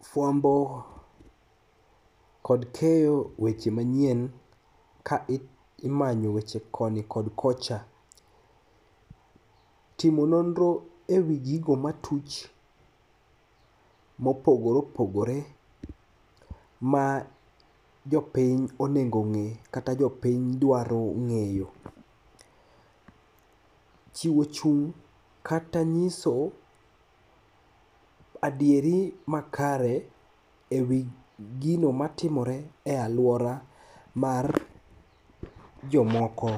Fuambo kod keyo weche manyien ka imanyo weche koni kod kocha. Timo nonro e wii gigo matuch mopogore opogore ma jopiny onego ong'i kata jopiny dwaro ng'eyo. Chiwo chung' kata nyiso adieri makare e wiigino matimore e aluora majomoko.